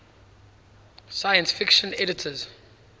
science fiction editors